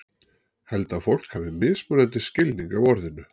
Held að fólk hafi mismunandi skilning á orðinu.